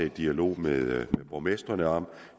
en dialog med borgmestrene om